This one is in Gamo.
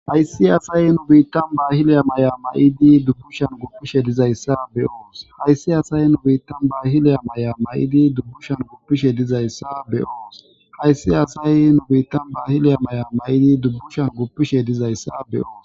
Haysiasay nubiitaailyamay'a ma'idi dubbushan gupishe dizayssa beoos hayssi asay nubiittan baahileya may'a ma'idi dubbushan guppishe dizayssa beoos hayssi asay nubiittan baahiliya may'a ma'idi dubbushan guppishe dizayssa beoos.